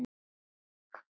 Við áttum góða stund saman.